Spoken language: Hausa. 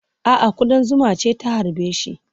A'a, kuɗan zuma ce ta harbe shi.